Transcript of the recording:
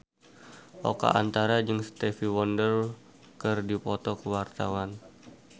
Oka Antara jeung Stevie Wonder keur dipoto ku wartawan